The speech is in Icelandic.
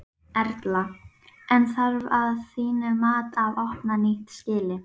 Erla: En þarf að þínu mati að opna nýtt skýli?